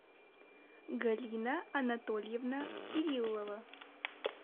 галина анатольевна кириллова